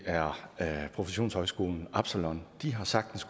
er professionshøjskolen absalon de har sagtens